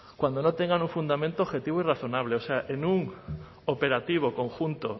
cuando no tengan un fundamento objetivo y razonables o sea en un operativo conjunto